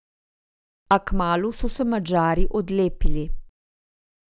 A kmalu so se Madžari odlepili.